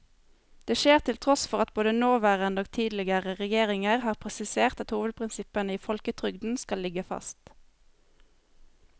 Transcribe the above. Det skjer til tross for at både nåværende og tidligere regjeringer har presisert at hovedprinsippene i folketrygden skal ligge fast.